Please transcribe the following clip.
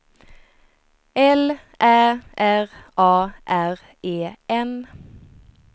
L Ä R A R E N